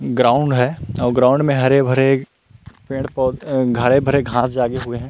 Ground है और ground में हरे भरे पेड़ पौध हरे भरे घास जागे हुए हैं।